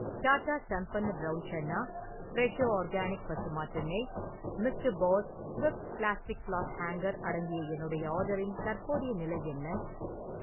Tata Sampann brown chana , Fresho organic பசு மாட்டு நெய், mister Boss Swift plastic cloth hanger அடங்கிய என்னுடைய ஆர்டரின் தற்போதைய நிலை என்ன?